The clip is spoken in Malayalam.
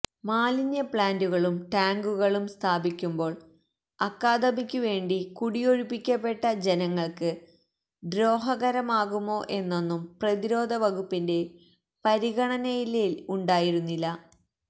മാലിന്യ പ്ലാന്റുകളും ടാങ്കുകളും സ്ഥാപിക്കുമ്പോൾ അക്കാദമിക്കു വേണ്ടി കുടിയൊഴിപ്പിക്കപ്പെട്ട ജനങ്ങൾക്ക് ദ്രോഹകരമാകുമോ എന്നൊന്നും പ്രതിരോധ വകുപ്പിന്റെ പരിഗണനയിലേ ഉണ്ടായിരുന്നില്ല